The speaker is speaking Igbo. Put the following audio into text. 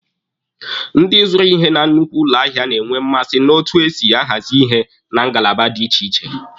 Ndị zụrụ ihe na nnukwu ụlọ ahịa na-enwe mmasị na otu esi ahazi ihe na ngalaba dị iche iche.